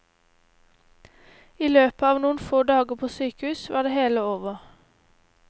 I løpet av noen få dager på sykehus var det hele over.